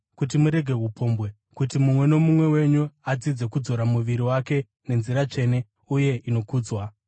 kuti murege upombwe; kuti mumwe nomumwe wenyu adzidze kudzora muviri wake nenzira tsvene uye inokudzwa,